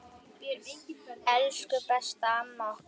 Elsku besta amma okkar.